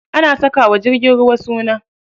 Ana saka wa jirgin ruwa suna.